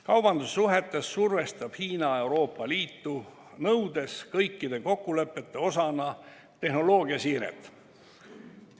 Kaubandussuhetes survestab Hiina Euroopa Liitu, nõudes kõikide kokkulepete osana tehnoloogiasiiret.